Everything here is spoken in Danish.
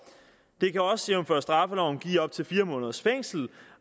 det kan også jævnfør straffeloven give op til fire måneders fængsel